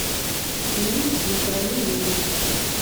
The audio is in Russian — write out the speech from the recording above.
фильм на краю мира